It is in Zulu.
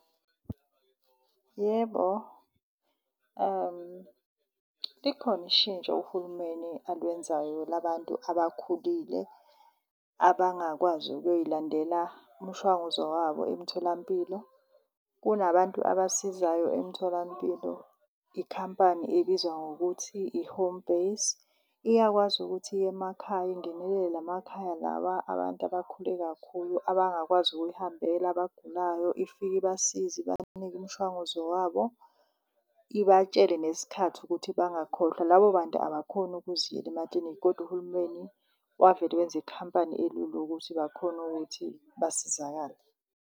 Yebo, likhona ishintsho uhulumeni alwenzayo labantu abakhulile abangakwazi ukuyoyilandela umshwanguzo wabo emtholampilo. Kunabantu abasizayo emtholampilo, ikhampani ebizwa ngokuthi i-Home Base. Iyakwazi ukuthi iyemakhaya ingenelele la makhaya lawa abantu abakhule kakhulu abangakwazi ukuyihambela abagulayo ifike ibasize, ibanike imshwanguzo wabo ibatshele nesikhathi ukuthi bangakhohlwa. Labo bantu abakhoni ukuziyela emaklinikhi kodwa uhulumeni wavele wenza ikhampani elula yokuthi bakhone ukuthi basizakale.